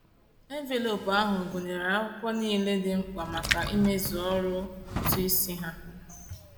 Enveloopu ahụ gụnyere akwụkwọ niile dị mkpa maka ịmezu ọrụ ụtụisi ha.